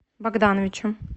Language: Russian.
богдановичем